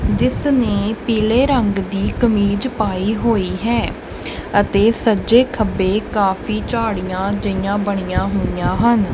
ਜਿਸ ਨੇ ਪੀਲੇ ਰੰਗ ਦੀ ਕਮੀਜ਼ ਪਾਈ ਹੋਈ ਹੈ ਅਤੇ ਸੱਜੇ ਖੱਬੇ ਕਾਫੀ ਝਾੜੀਆਂ ਜਿਹੀਆਂ ਬਣੀਆਂ ਹੋਈਆਂ ਹਨ।